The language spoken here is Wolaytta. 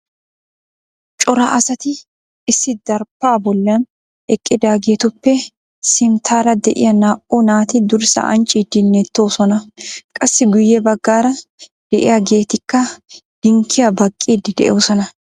Cora asati issi daraphpha bollan eqqidaagetuppe simttara de'iyaa naa"u naati durssa ancciidi neettosona qassi guyye baggaara de'iyaagetikka dinkkiyaa baqqiide de'oosona.